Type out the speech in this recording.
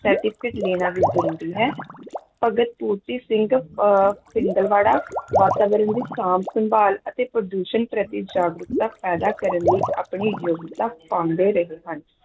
certificate ਲੈਣਾ ਵੀ ਜ਼ਰੂਰੀ ਹੈ, ਭਗਤ ਪੂਰਤੀ ਸਿੰਘ ਅਹ ਪਿੰਗਲਵਾੜਾ ਵਾਤਾਵਰਨ ਦੀ ਸਾਂਭ-ਸੰਭਾਲ ਅਤੇ ਪ੍ਰਦੂਸ਼ਣ ਪ੍ਰਤੀ ਜਾਗਰੂਕਤਾ ਪੈਦਾ ਕਰਨ ਲਈ ਆਪਣੀ ਯੋਗਤਾ ਪਾਉਂਦੇ ਰਹੇ ਹਨ।